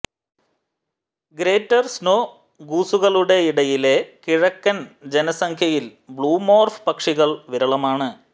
greater snow ഗൂസുകളുടെയിടയിലെ കിഴക്കൻ ജനസംഖ്യയിൽ ബ്ലൂമോർഫ് പക്ഷികൾ വിരളമാണ്